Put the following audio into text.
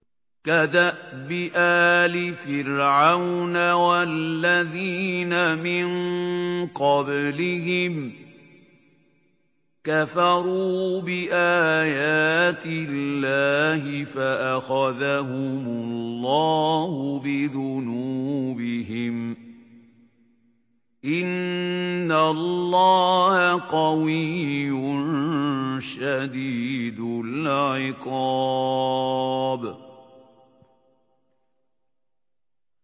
كَدَأْبِ آلِ فِرْعَوْنَ ۙ وَالَّذِينَ مِن قَبْلِهِمْ ۚ كَفَرُوا بِآيَاتِ اللَّهِ فَأَخَذَهُمُ اللَّهُ بِذُنُوبِهِمْ ۗ إِنَّ اللَّهَ قَوِيٌّ شَدِيدُ الْعِقَابِ